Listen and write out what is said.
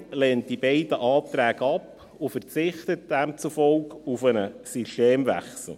Die FiKo lehnt die beiden Anträge ab und verzichtet demzufolge auf einen Systemwechsel.